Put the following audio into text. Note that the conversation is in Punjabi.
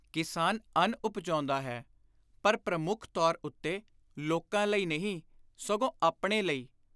ਕਿਸਾਨ ਅੰਨ ਉਪਜਾਉਂਦਾ ਹੈ ਪਰ ਪ੍ਰਮੁੱਖ ਤੌਰ ਉੱਤੇ ਲੋਕਾਂ ਲਈ ਨਹੀਂ, ਸਗੋਂ ਆਪਣੇ ਲਈ।